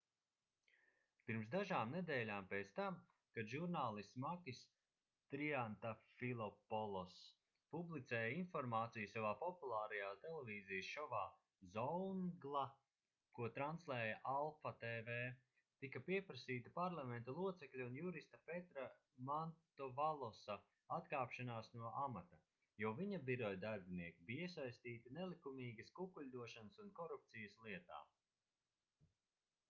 pirms dažām nedēļām pēc tam kad žurnālists makis triantafilopoloss publicēja informāciju savā populārajā televīzijas šovā zoungla ko translēja alpha tv tika pieprasīta parlamenta locekļa un jurista petra mantovalosa atkāpšanās no amata jo viņa biroja darbinieki bija iesaistīti nelikumīgas kukuļdošanas un korupcijas lietā